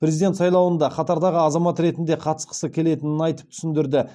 президент сайлауында қатардағы азамат ретінде қатысқысы келетінін айтып түсіндірді